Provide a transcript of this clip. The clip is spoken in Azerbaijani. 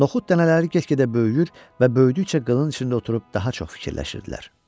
Noxud dənələri get-gedə böyüyür və böyüdükcə qılıncın içində oturub daha çox fikirləşirdilər.